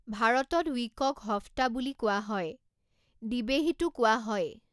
ভাৰতত ৱিকক হফ্তা বুলি কোৱা হয়, দ্বিবেহীতো কোৱা হয়।